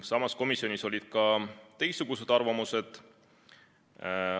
Samas, komisjonis olid ka teistsugused arvamused.